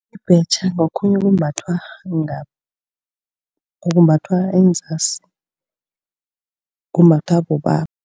Ibhetjha ngokhunye okumbathwa enzasi kumbathwa bobaba.